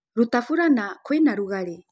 Rũta fũlana kwĩ na ũrugarĩ